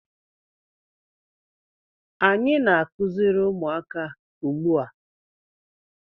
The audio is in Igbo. Anyị na-akụziri ụmụaka ugbu a.